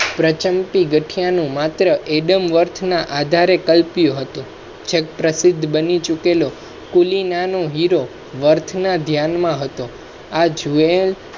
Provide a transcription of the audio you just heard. પ્રચંતી ગઠિયા નું માત્ર adam warth ના આધારે કલ્પ્યું હતું. પ્રસિદ્ધ બની ચુકેલો. કુલીનનો હીરો વર્થના ધ્યાન માં હતો.